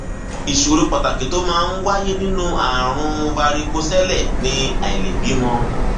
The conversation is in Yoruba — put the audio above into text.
ìṣòro pàtàkì tó máa ń wáyé nínú ààrùn varicocele ni àìlèbímọ